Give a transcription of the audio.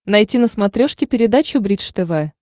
найти на смотрешке передачу бридж тв